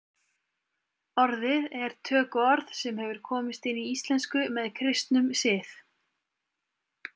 Orðið er tökuorð sem hefur komist inn í íslensku með kristnum sið.